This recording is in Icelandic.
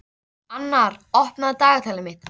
Annar, opnaðu dagatalið mitt.